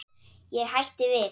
Ég hætti við.